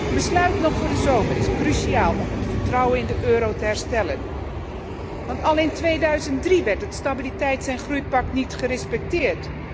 Een besluit nog vóór de zomer is cruciaal om het vertrouwen in de euro te herstellen, want al in 2003 werd het stabiliteits en groeipact niet gerespecteerd.